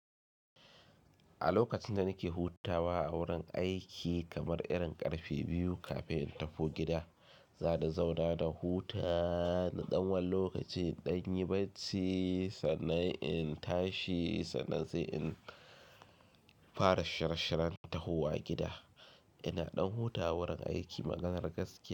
A lokacin da nake hutawa a wurin aiki kamar irin ƙarfe biyu kafin in tafi gida, za ni zauna da huta na ɗan wani lokaci, ɗan yi barci sannan in tashi sannan sai in fara shirashiran tahowa gida. Ina ɗan hutawa wurin aiki maganar gaskiya.